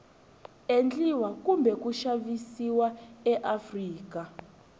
endliwa kumbe ku xavisiwa eafrika